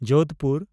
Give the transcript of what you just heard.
Jodhpur